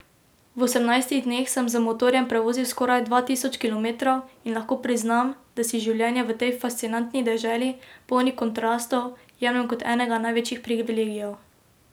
V osemnajstih dneh sem z motorjem prevozil skoraj dva tisoč kilometrov in lahko priznam, da si življenje v tej fascinantni deželi, polni kontrastov, jemljem kot enega največjih privilegijev.